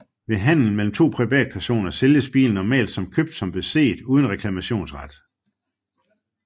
Ved handel mellem to privatpersoner sælges bilen normalt som købt som beset uden reklamationsret